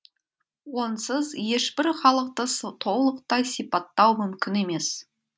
онсыз ешбір халықты толықтай сипаттау мүмкін емес